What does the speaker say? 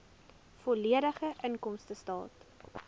volledige inkomstestaat